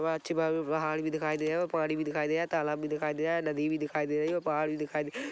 वहां अच्छी पहाड़ भी दिखाई दे है पानी भी दिखाई दे है तालाब भी दिखाई दे है नदी भी दिखाई दे रही है और पहाड भी दिखाई दे--